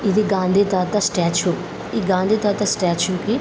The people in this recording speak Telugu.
ఇది గాంధీ తాత స్టాచ్యు . ఈ గాంధీ తాత స్టాచ్యు కి--